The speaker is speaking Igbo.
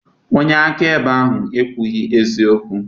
Onye akaebe ahụ ekwughị eziokwu.